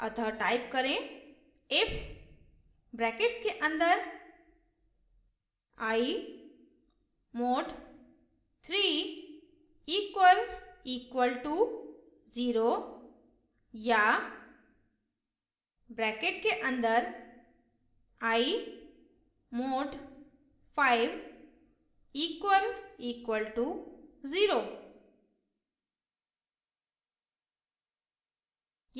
अतः type करें if brackets के अन्दर i mod 3 double equal to 0 या brackets के अन्दर i mod 5 double equal to 0